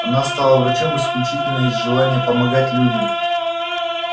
она стала врачом исключительно из желания помогать людям